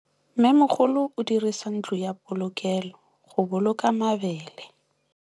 Mmêmogolô o dirisa ntlo ya polokêlô, go boloka mabele.